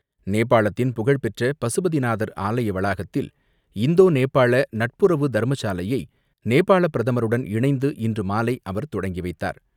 நேபாளத்தின் புகழ்பெற்ற பசுபதி நாதர் ஆலய வளாகத்தில் இந்தோ நேபாள நட்புறவு தர்மசாலையை நேபாள பிரதமருடன் இணைந்து இன்று மாலை அவர் தொடக்கி வைத்தார்.